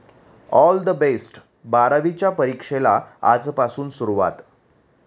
All the best! बारावीच्या परीक्षेला आजपासून सुरुवात